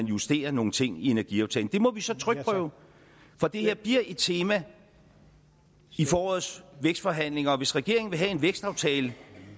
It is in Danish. justere nogle ting i energiaftalen det må vi så trykprøve for det her bliver et tema i forårets vækstforhandlinger og hvis regeringen vil have en vækstaftale